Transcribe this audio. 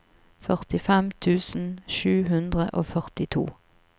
førtifem tusen sju hundre og førtito